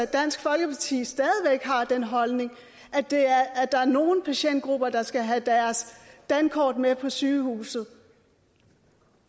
dansk folkeparti stadig væk har den holdning at der er nogle patientgrupper der skal have deres dankort med på sygehuset